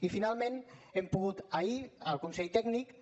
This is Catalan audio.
i finalment hem pogut ahir el consell tècnic